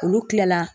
Olu tilala